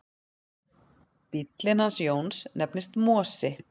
Bíllinn hans Jóns nefnist Mosi.